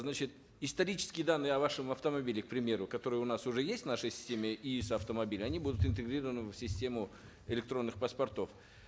значит исторические данные о вашем автомобиле к примеру которые у нас уже есть в нашей системе они будут интегрированы в систему электронных паспортов